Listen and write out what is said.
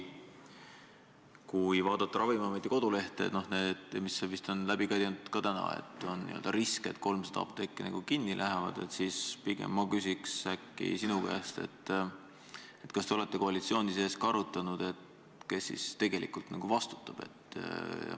Kui vaadata Ravimiameti kodulehte – sealsed arvud on täna vist ka jutust läbi käinud –, et on n-ö risk, et 300 apteeki läheb kinni, siis ma pigem küsiks sinu käest nii: kas te olete koalitsiooni sees arutanud, kes siis tegelikult vastutab?